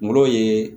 Ngolo ye